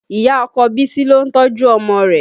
Ìyá ọkọ Bisi lo ń tọ́jú ọmọ rẹ̀